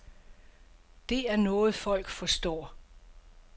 Det er noget folk forstår.